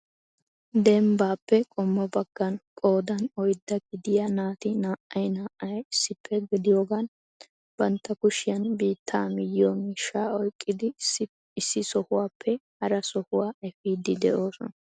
Dembbappe qommo baggan qoodan oydda gidiyaa naati naa"ay naa"ay issippe gidiyoogan bantta kushiyaan biitta miyyiyo miishsha oyqqidi issi sohuwappe hara sohuwaa effidi de"oosona.